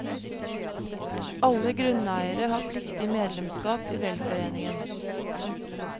Alle grunneiere har pliktig medlemskap i velforeningen.